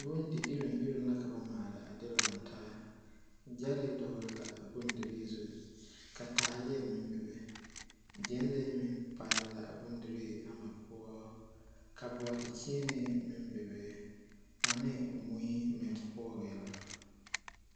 Bondiiroŋiroŋ la ka ba maale a de lantaa ɡyɛlee dɔɡele la a bondirii zu ka taaleɛ meŋ bebe ɡyɛnlee meŋ paale la a bondirii ama poɔ ka bɔɔdekyeene meŋ bebe ane mui meŋ poɔ la.